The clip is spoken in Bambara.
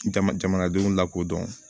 Jamanadenw lakodɔn